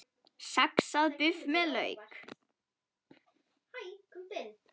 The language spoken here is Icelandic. Saxað buff með lauk